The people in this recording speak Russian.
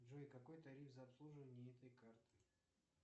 джой какой тариф за обслуживание этой карты